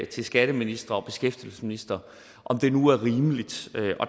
til skatteministre og beskæftigelsesministre om det nu var rimeligt